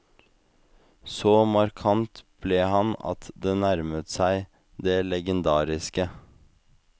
Så markant ble han at det nærmet seg det legendariske.